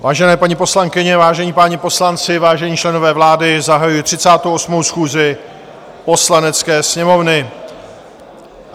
Vážené paní poslankyně, vážení páni poslanci, vážení členové vlády, zahajuji 38. schůzi Poslanecké sněmovny.